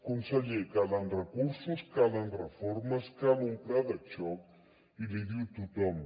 conseller calen recursos calen reformes cal un pla de xoc i l’hi diu tothom